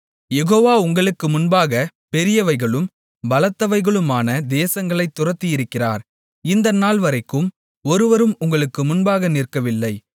யெகோவா உங்களுக்கு முன்பாகப் பெரியவைகளும் பலத்தவைகளுமான தேசங்களைத் துரத்தியிருக்கிறார் இந்த நாள்வரைக்கும் ஒருவரும் உங்களுக்கு முன்பாக நிற்கவில்லை